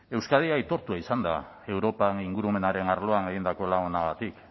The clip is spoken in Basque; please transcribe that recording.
euskadi aitortua izan da europa ingurumenaren arloan egindako lan onagatik